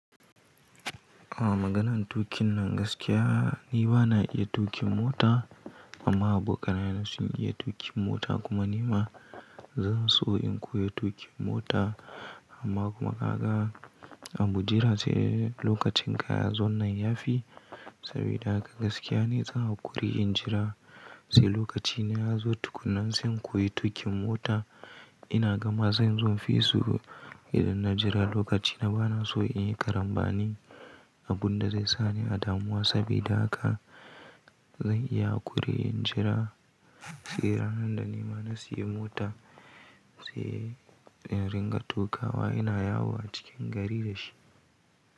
A maganan tuƙin nan gaskiya ni ba na iya tuƙin mota amma abokanaye na sun iya tuƙin mota kuma nima zan so in koyi tuƙin mota amma kuma ka ga abu dai sai lokacin kay ya zon nan ya fi. Sabida haka gaskiya ne zan yi haƙuri in jira sai lokaci na ya zo tukunnan sai in koyi tuƙin mota. Ina gama zan zo in fi su idan na jira lokaci na ba na so in yi karambani abunda zai sa ni a damuwa sabida haka zan iya haƙuri in jira sai ranan da nima na sayi mota sai in ringa tukawa ina yawo a cikin gari da shi.